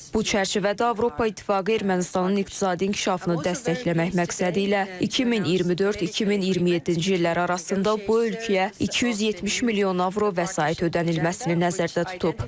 Bu çərçivədə Avropa İttifaqı Ermənistanın iqtisadi inkişafını dəstəkləmək məqsədilə 2024-2027-ci illər arasında bu ölkəyə 270 milyon avro vəsait ödənilməsini nəzərdə tutub.